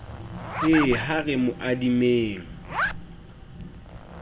he ha re mo adimeng